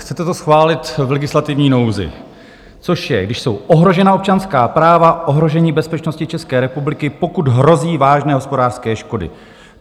Chcete to schválit v legislativní nouzi, což je, když jsou ohrožena občanská práva, ohrožení bezpečnosti České republiky, pokud hrozí vážné hospodářské škody.